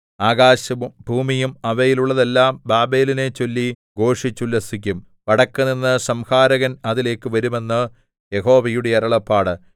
ആകാശവും ഭൂമിയും അവയിലുള്ളതെല്ലാം ബാബേലിനെച്ചൊല്ലി ഘോഷിച്ചുല്ലസിക്കും വടക്കുനിന്ന് സംഹാരകൻ അതിലേക്ക് വരും എന്ന് യഹോവയുടെ അരുളപ്പാട്